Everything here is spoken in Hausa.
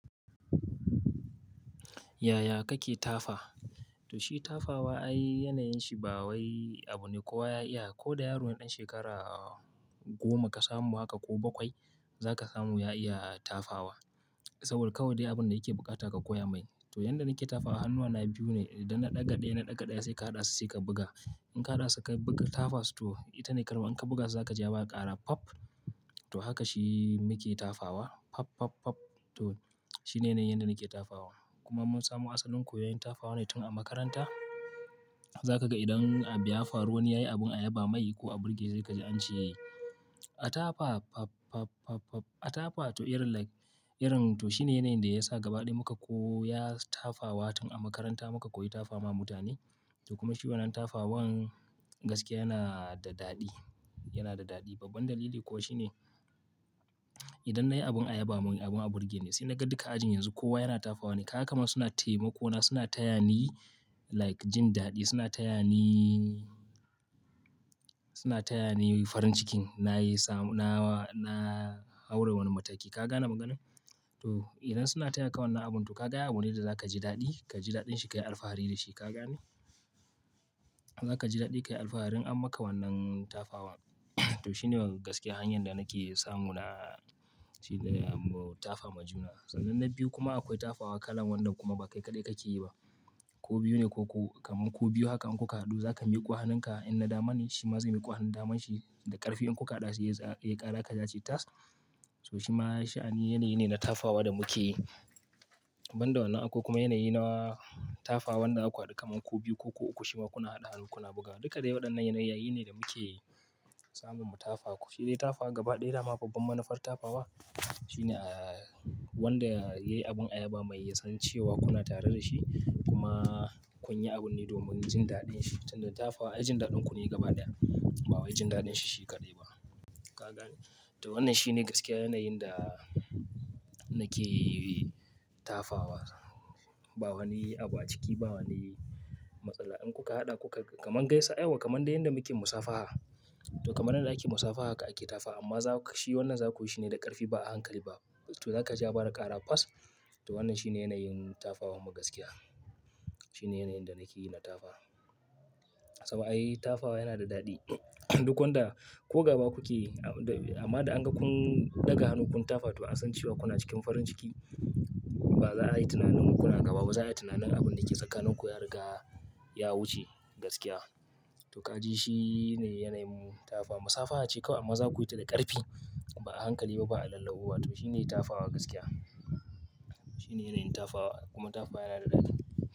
Yaya kake tafa? To shi tafawa ayi yanayin shi ba wai abu ne kowa ya iya. Ko da yaron ɗan shekara goma ka samu haka ko bakwai za ka samu ya iya tafawa. Saboda kawai dai abun da yake bukata ka koya mai. To yanda nake tafawa hannuwana biyu ne idan na ɗaga ɗaya na ɗaga ɗaya sai ka haɗa su sai ka buga. In ka haɗa su ka buga tafas to ita ne karɓa in ka buga za ka ji ya fara ƙara pap. To haka shi muke tafawa pap, pap, pap. To shi ne yanayin yadda nake tafawa. Kuma mun samu asalin koyon tafawa ne tun a makaranta. Za ka ga idan a buyafaruwani yayi abun ayaba mai ko a burge zai gaji an ce a tafa pap, pap, pap, pap. A tafa to irin like irin to shi ne yanayin da ya sa gaba ɗaya muka koyi tafawa tun a makaranta muka koyi tafawa mutane. To kuma shi wannan tafawan gaskiya yana da daɗi, yana da daɗi. Babban dalili kuwa shi ne idan nayi abun ayaba mai abun a burge ne sai na ga duka ajin yanzu kowa yana tafawa ne. Kaga kamar suna taimako na suna taya ni like jin daɗi suna taya ni, suna taya ni farin cikin na yi samu na, na haura wani mataki ka gane maganar? To idan suna taya ka wannan abun to ka ga abune da za ka ji daɗi ka ji daɗin shi ka yi alfahari da shi ka gane. Za ka ji daɗi ka yi alfaharin an maka wannan tafawa. To shi ne gaskiya hanyar da nake samu na shi da tafawa juna. Sananan na biyu kuma akwai tafawa kalan wannan kuma ba kai kaɗai kake yi ba. Ku biyu ne ko kuku kaman ku biyu haka an ku haɗu za ka miƙo hannun ka in na dama ne shi ma zai miƙo hannun daman shi da ƙarfi in ku haɗa su ya ƙara ƙaja ce tas. To shi ma shi'a ne yanayi ne na tafawa da muke yi. Ban da wannan akwai kuma yanayi na tafawan da akwai duka kaman ku biyu ko ku uku shi ma kuna haɗa hannu kuna bugawa. Duka dai waɗannan yanayi ne da muke samun mu tafawa. Shi dai tafa gaba ɗaya ma babban manufar tafawa shi ne wanda yayi abun ayaba mai ya san cewa kuna tare da shi kuma kun yi abun ne domin jin daɗin shi. Tunda tafawa ayi jin daɗin ku ne gaba ɗaya ba wai jin daɗin shi shi kaɗai ba ka gane. To wannan shi ne gaskiya yanayin da nake tafawa. Ba wani abu a ciki ba wani matsala in kuka haɗa kuka kaman gaisa yauwa kaman da yanda muke musafaha. To kaman yadda ake musafaha haka ake tafa amma za ku shi wannan za ku yi shi ne da ƙarfi ba a hankali ba. To za ka ji ya fara ƙara fas. To wannan shi ne yanayin tafawa magaskiya. Shi ne yanayin da nake yi na tafa. Sabo ayi tafawa yana da daɗi duk wanda ko gaba kuke amma da an ga kun ɗaga hannu kun tafa to an san cewa kuna cikin farin ciki. Ba za a yi tunanin kuna gaba ba za a yi tunanin abun da ke tsakanin ku ya riga ya wuce gaskiya. To ka ji shi ne yanayin tafawa. Musafaha ce kawai amma za ku yi ta da ƙarfi ba a hankali ba ba a lallauwa ba to shi ne tafawa gaskiya. Shi ne yanayin tafawa kuma tafawa yana da daɗi.